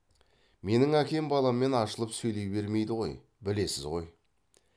менің әкем баламен ашылып сөйлей бермейді ғой білесіз ғой